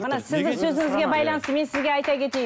мына сіздің сөзіңізге байланысты мен сізге айта кетейін